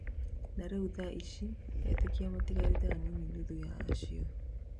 na rĩu thaa ici etĩkia matigarĩte anini nuthu ya acio